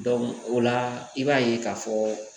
o la i b'a ye k'a fɔ